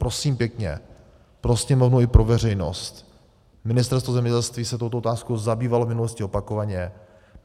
Prosím pěkně, pro Sněmovnu i pro veřejnost, Ministerstvo zemědělství se touto otázkou zabývalo v minulosti opakovaně.